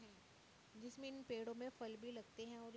न् जिसमें ईन पेड़ो में फल भी लगते हैं। और --